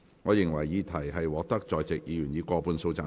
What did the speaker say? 我認為議題獲得在席議員以過半數贊成。